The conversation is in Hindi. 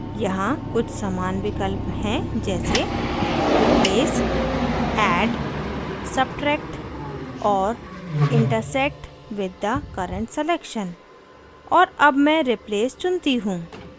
यहाँ कुछ समान विकल्प हैं जैसे replace add substract और intersect with the current selection और अब मैं replace चुनती हूँ